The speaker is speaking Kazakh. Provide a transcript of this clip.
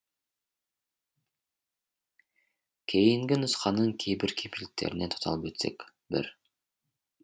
кейінгі нұсқаның кейбір кемшіліктеріне тоқталып өтсек бір